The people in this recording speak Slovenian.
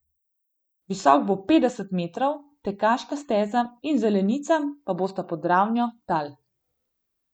Visok bo petdeset metrov, tekaška steza in zelenica pa bosta pod ravnijo tal.